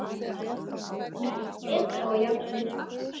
Mest ber þó á járni.